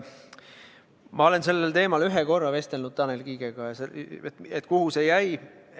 Ma olen sellel teemal ühe korra vestelnud Tanel Kiigega, küsinud, et kuhu see jäi.